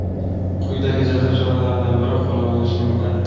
quyidagi jazo choralaridan biri qo‘llanilishi mumkin:.